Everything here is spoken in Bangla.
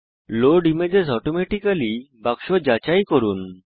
লোড ইমেজেস অটোমেটিক্যালি বাক্স যাচাই করুন